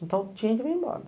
Então, tinha que vir embora.